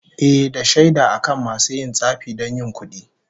Ehh, da shaida akan masu yin tsafi don yin kudi